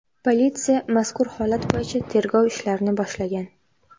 Politsiya mazkur holat bo‘yicha tergov ishlarini boshlagan.